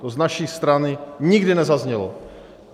To z naší strany nikdy nezaznělo.